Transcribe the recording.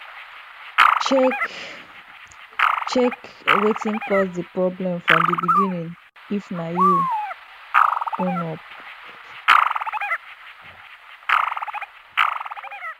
check check wetin cause di problem from di begining if na you own up